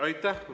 Aitäh!